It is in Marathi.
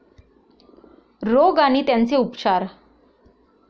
रोग आणि त्यांचे उपचार